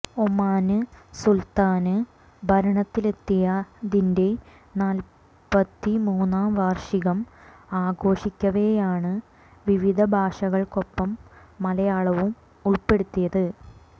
ഒമാന് സുല്ത്താന് ഭരണത്തിലെത്തിയതിന്റെ നാല്പ്പത്തി മൂന്നാം വാര്ഷികം ആഘോഷിക്കവെയാണ് വിവിധ ഭാഷകൾക്കൊപ്പം മലയാളവും ഉൾപ്പെടുത്തിയത്